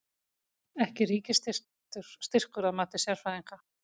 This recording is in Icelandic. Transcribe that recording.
Ekki ríkisstyrkur að mati sérfræðinga